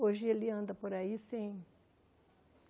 Hoje ele anda por aí, sem.